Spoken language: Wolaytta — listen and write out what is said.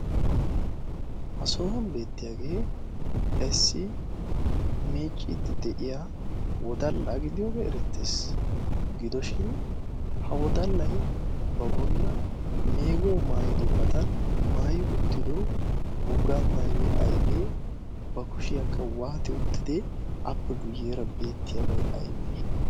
ha soohwon beettiyaagee issi meecciiddi de'iya wodallaa gidiyoogee erettees gidoshin ha wodallay ba bolla meego maayido badan maayi uttido woga maayoy aybee ba kushiyaakka waati uttidi appe guyyeera beettiyaabay aybee